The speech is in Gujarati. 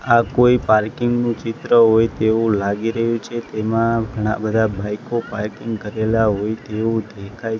આ કોઈ પાર્કિંગ નું ચિત્ર હોય તેવું લાગી રહ્યું છે તેમાં ઘણા બધા બાઈકો પાર્કિંગ કરેલા હોય તેવું દેખાય--